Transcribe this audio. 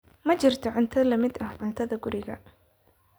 Ma jirto cunto la mid ah cuntada guriga.